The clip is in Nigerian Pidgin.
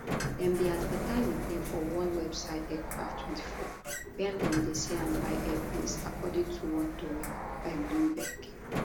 dem bin advertise di plane for one website aircraft24 wia dem dey sell and buy airplanes according to one tori by bloomberg